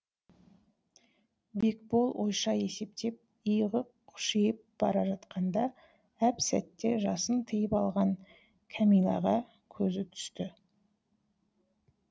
бекбол ойша есептеп иығы қушиып бара жатқанда әп сәтте жасын тыйып алған кәмиләға көзі түсті